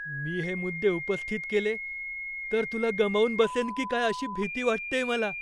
मी हे मुद्दे उपस्थित केले तर तुला गमावून बसेन की काय अशी भीती वाटतेय मला.